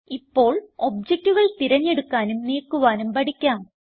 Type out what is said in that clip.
ഇപ്പോൾ ഒബ്ജകറ്റുകൾ തിരഞ്ഞെടുക്കാനും നീക്കുവാനും പഠിക്കാം